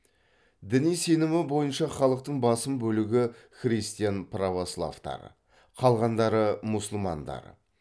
діни сенімі бойынша халықтың басым бөлігі христиан православтар қалғандары мұсылмандар